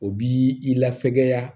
O b'i lafɛgɛya